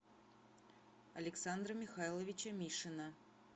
александра михайловича мишина